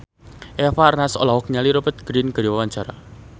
Eva Arnaz olohok ningali Rupert Grin keur diwawancara